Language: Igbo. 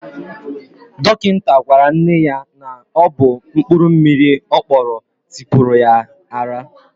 Dọkịta gwara nne ya na ọ bụ mkpụrụ mmiri ọ kpọrọ tipuru ya ara